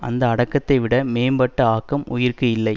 அந்த அடக்கத்தைவிட மேம்பட்ட ஆக்கம் உயிர்க்கு இல்லை